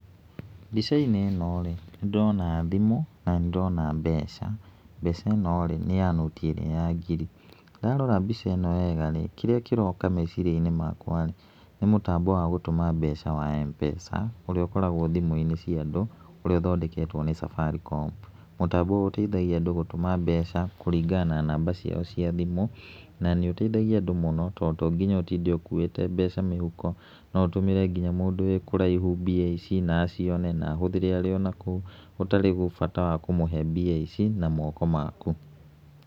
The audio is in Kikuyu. Mbica-inĩ ĩno rĩ, nĩ ndĩrona thimũ na nĩ ndĩrona mbeca. Mbeca ĩno rĩ nĩ ya noti ĩrĩa ya ngiri, ndarora mbica ĩno wega rĩ, kíĩíĩ kĩroka meciria-inĩ wakwa nĩ mũtambo wa gũtũma mbeca wa M-pesa ũríĩ ũkoragwo thimũ-inĩ cia andũ ũrĩa ũthondeketwo nĩ Safaricom. Mũtambo ũyũ ũteithagia andũ gũtũma mbeca kũringana na namba ciao cia thimũ, na nĩ ũteithagia andũ mũno tondũ to nginya ũtinde ũkuĩte mbeca mĩhuko, no ũtũmĩre nginya mũndũ wĩ kũraihu mbia ici na acione na ahũthĩre arĩ onakũu, gũtarĩ bata wa kũmũhe mbia ici na moko maku .